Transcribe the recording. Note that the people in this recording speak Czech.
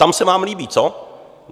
Tam se vám líbí, co?